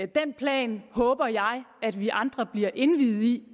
den plan håber jeg at vi andre bliver indviet i